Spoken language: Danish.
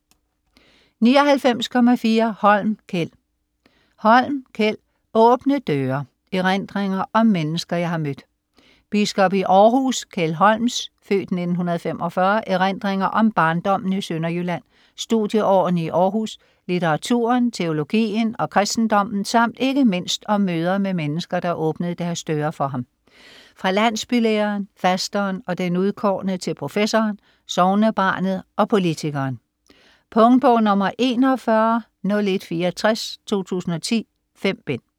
99.4 Holm, Kjeld Holm, Kjeld: Åbne døre: erindringer om mennesker jeg har mødt Biskop i Århus, Kjeld Holms (f. 1945) erindringer om barndommen i Sønderjylland, studieårene i Århus, litteraturen, teologien og kristendommen samt ikke mindst om møder med mennesker, der åbnede deres døre for ham - fra landsbylæreren, fasteren og den udkårne til professoren, sognebarnet og politikeren. Punktbog 410164 2010. 5 bind.